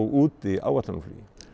úti áætlunarflugi